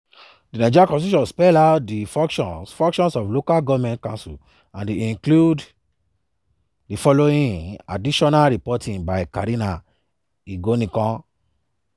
di nigerian constitution spell out di functions functions of local goment councils and e include di following; additional reporting by karina igonikon.